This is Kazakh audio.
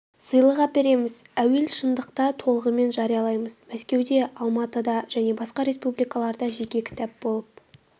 сыйлық әпереміз әуел шындықта толығымен жариялаймыз мәскеуде алматы да және басқа республикаларда жеке кітап болып